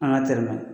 An ka teri